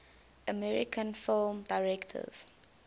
american film directors